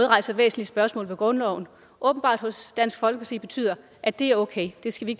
rejser væsentlige spørgsmål i forhold til grundloven åbenbart hos dansk folkeparti betyder at det er okay det skal vi